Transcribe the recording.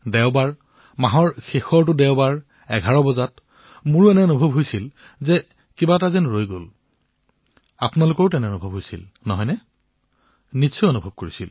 দেওবাৰ শেষৰটো দেওবাৰ১১ বজা মোৰ এনে লাগিছিল যেন কিবা এটা থাকি গল আপোনালোকৰে তেনে লাগিছিল নে নিশ্চয় লাগিছিল